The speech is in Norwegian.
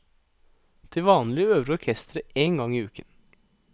Til vanlig øver orkesteret én gang i uken.